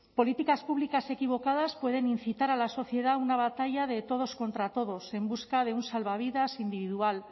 políticas públicas equivocadas pueden incitar a la sociedad a una batalla de todos contra todos en busca de un salvavidas individual